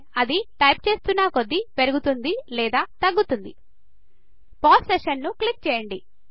అది టైప్ చేస్తున్న కొద్ది పెరుగుతుంది లేదా తగ్గుతుంది పౌస్ సెషన్ ను క్లిక్ చేయండి